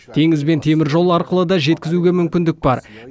теңіз бен теміржол арқылы да жеткізуге мүмкіндік бар